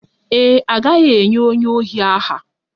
Ee e, a gaghị enye onye ohi aha